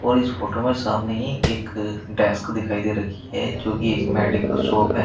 और इस फोटो में सामने ही एक डेस्क दिखाई दे रही है जो कि एक मेडिकल शॉप है।